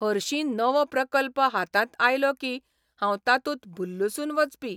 हरशीं नवो प्रकल्प हातांत आयलो कीं हांव तातूंत भुल्लुसून वचपी.